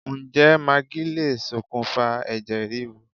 Ǹjẹ́ magí lè ṣokùnfà ẹ̀jẹ̀ríru